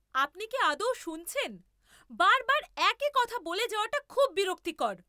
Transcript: আপনি কি আদৌ শুনছেন? বার বার একই কথা বলে যাওয়াটা খুব বিরক্তিকর।